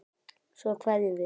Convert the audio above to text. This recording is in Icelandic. Svo kveðjum við.